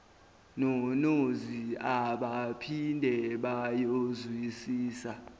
nonozi abaphinde bayozwisisa